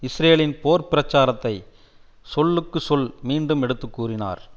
இஸ்ரேலின் போர் பிரச்சாரத்தை சொல்லுக்கு சொல் மீண்டும் எடுத்து கூறினார்